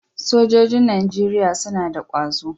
Sojojin Najeriya suna da kwazo.